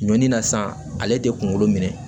Ɲɔ ni na san ale tɛ kunkolo minɛ